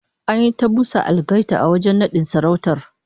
An yi ta busa algaita a wajen nadin sarautar